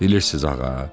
Bilirsiniz, ağa?